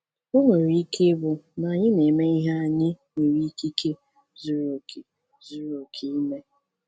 O nwere ike ịbụ na anyị na-eme ihe anyị nwere ikike zuru oke zuru oke ime.